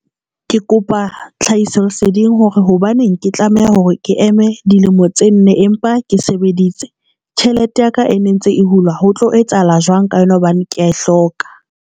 Ke kopa tlhahisoleseding hore hobaneng ke tlameha hore ke eme dilemo tse nne empa ke sebeditse. Tjhelete ya ka e ne ntse e hulwa ho tlo etsahala jwang ka yona hobane ke ya e hloka.